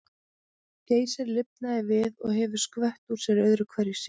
Geysir lifnaði við og hefur skvett úr sér öðru hverju síðan.